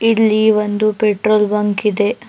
ಇಲ್ಲಿ ಒಂದು petrol bunk ಇದೆ.